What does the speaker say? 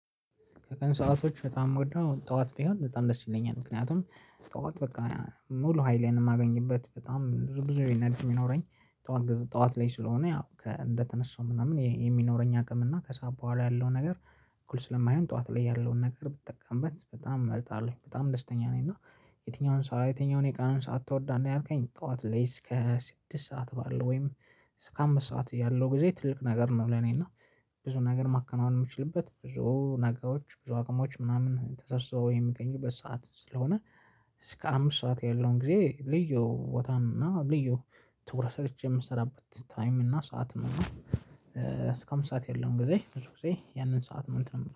ከቀን ሰአቶች በጣም ምወደው ጠዋት ቢሆን በጣም ደስ ይለኛል ምክንያቱም ጠዋት በቃ ሙሉ ሀይሌን ማገኝበት በጣም ብዙ ብዙ ኢነርጅ ሚኖረኝ ጠዋት ገዝ ጠዋት ላይ ስለሆነ ያው እንደተነሳው ምናምን የሚኖረኝ አቅም እና ከሰአት በኋላ ያለው ነገር እኩል ስለማይሆን ጠዋት ላይ ያለውን ነገር ብጠቀምበት በጣም እመርጣለሁ በጣም ደስተኛ ነኝ። እና የትኛውን ሰዓት የትኛውን የቃን ሰዓት ትወዳለህ ያልከኝ ጠዋት ላይ እስከ ስድስት ሰዓት ባለው ወይም እስከ አምስት ሰዓት ያለው ጊዜ ትልቅ ነገር ነው። ለኔ እና ብዙ ነገር ማከናወን ምችልበት ብዙ ነገሮች ብዙ አቅሞች ምናምን ተሰብሰው የሚገኙበት ሰዓት ስለሆነ። እስከ አምስት ሰዓት ያለውን ጊዜ ልዩ ቦታም እና ልዩ ትኩረት ሰጥቼ የምሰራበት ታይም እና ሰዓት ነው። እና እስከ አምስት ሰዓት ያለውን ጊዜ ብዙ ጊዜ ያንን ሰዓት ምን እንትን ነው